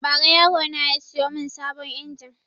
Ba ra yaro na ya siyo mun sabon injin